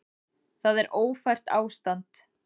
Það er ófært ástand.